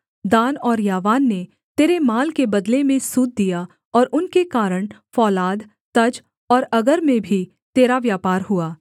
दान और यावान ने तेरे माल के बदले में सूत दिया और उनके कारण फौलाद तज और अगर में भी तेरा व्यापार हुआ